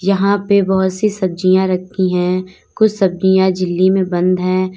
यहां पे बहुत सी सब्जियां रखी है कुछ सब्जियां झिल्ली में बंद है।